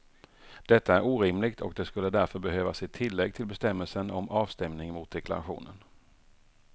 Detta är orimligt och det skulle därför behövas ett tillägg till bestämmelsen om avstämning mot deklarationen.